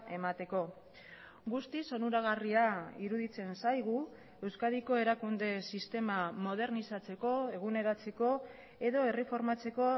emateko guztiz onuragarria iruditzen zaigu euskadiko erakunde sistema modernizatzeko eguneratzeko edo erreformatzeko